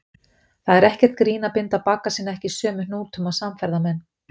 Það er ekkert grín að binda bagga sína ekki sömu hnútum og samferðamenn.